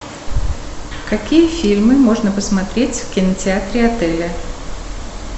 какие фильмы можно посмотреть в кинотеатре отеля